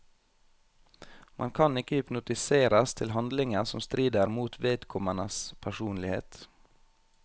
Man kan ikke hypnotiseres til handlinger som strider mot vedkommendes personlighet.